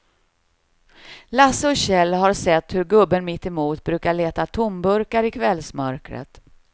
Lasse och Kjell har sett hur gubben mittemot brukar leta tomburkar i kvällsmörkret.